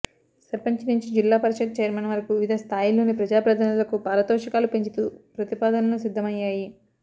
సర్పంచి నుంచి జిల్లా పరిషత్ చైర్మన్ వరకు వివిధ స్థాయిల్లోని ప్రజాప్రతినిధులకు పారితోషకాలు పెంచుతూ ప్రతిపాదనలు సిద్ధమయ్యాయి